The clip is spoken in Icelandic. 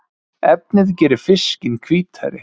Efnið gerir fiskinn hvítari